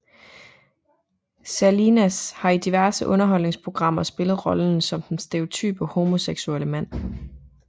Salinas har i diverse underholdningsprogrammer spillet rollen som den stereotype homoseksuelle mand